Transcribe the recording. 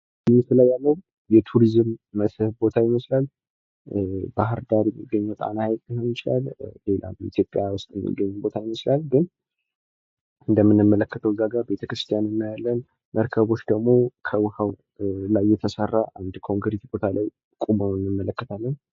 ምስሉ ላይ የምንመለከተው የቱሪስት መስህቦች ይመስላል ባህር ዳር የሚገኘው ጣና ሀይቅ ሊሆን ይችላል ።ሌላም በኢትዮጵያ የሚገኝ ቦታ ሊሆን ይችላል ።እንደምንመለከተው ቤተ ክርስቲያን እናያለን ፣መርከቦች ደግሞ ከውሀው ላይ የተሰራ ቦታ ላይ እናያለን።